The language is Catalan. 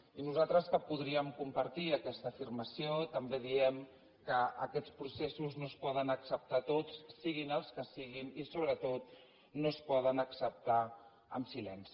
i nosaltres que podríem compartir aquesta afirmació també diem que aquests processos no es poden acceptar tots siguin els que siguin i sobretot no es poden acceptar en silenci